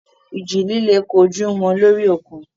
Ìjì líle kojú wọn lórí òkun.